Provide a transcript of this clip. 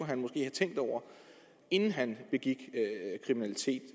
han måske have tænkt over inden han begik kriminalitet